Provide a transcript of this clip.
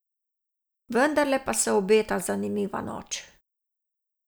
Vendarle pa se obeta zanimiva noč.